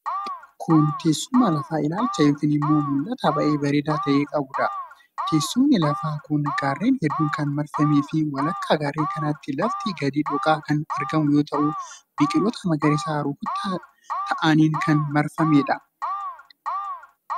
Kun, teessuma lafa ilaalcha yokin immoo mul'ata baay'ee bareedaa ta'e qabuu dha. Teessumni lafa kun gaarreen hedduun kan marfamee fi walakkaa garreen kanaatti lafti gadi dhooqaa kan argamu yoo ta'u, biqiloota magariisaa rukkataa ta'aniin kan marfamanii dha.